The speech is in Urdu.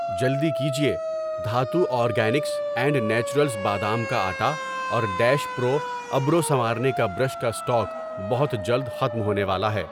جلدی کیجیے، دھاتو آرگینکس اینڈ نیچرلز بادام کا آٹا اور ڈیش پرو ابرو سنوارنے کا برش کا اسٹاک بہت جلد ختم ہونے والا ہے۔